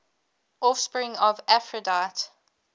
offspring of aphrodite